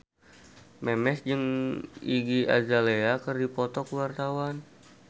Memes jeung Iggy Azalea keur dipoto ku wartawan